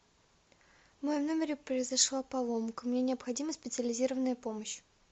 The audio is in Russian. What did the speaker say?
в моем номере произошла поломка мне необходима специализированная помощь